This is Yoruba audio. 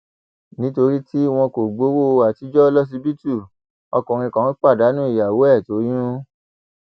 nítorí tí wọn kò gbowó àtijọ lọsibítù ọkùnrin kan pàdánù ìyàwó ẹ toyún